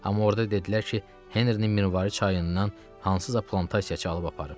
Amma orda dedilər ki, Henrinin mirvarı çayından hansısa plantasiyaçı alıb aparıb.